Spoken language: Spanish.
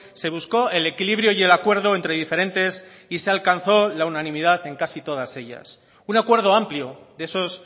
se buscó el equilibrio y el acuerdo entre diferentes y se alcanzó la unanimidad en casi todas ellas un acuerdo amplio de esos